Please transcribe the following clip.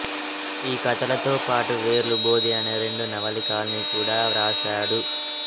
ఈ కథలతోపాటు వేర్లు బోధి అనే రెండు నవలికల్నికుడా వ్రాసాడు